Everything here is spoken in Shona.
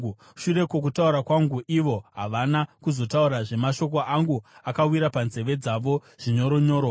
Shure kwokutaura kwangu, ivo havana kuzotaurazve; mashoko angu akawira panzeve dzavo zvinyoronyoro.